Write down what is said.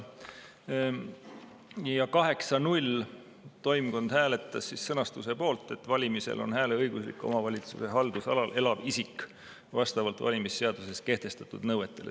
Ja 8 : 0 toimkond hääletas sõnastuse poolt, et valimistel on hääleõiguslik omavalitsuse haldusalal elav isik vastavalt valimisseaduses kehtestatud nõuetele.